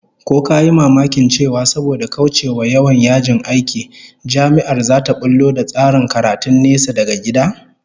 Ko ka yi mamakin cewa saboda kaucewa yawan yajin aiki, Jami'ar zata bullo da tsarin karatun nesa daga gida?